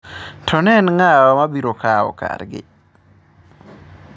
To en nga'wa mabiro kao kargi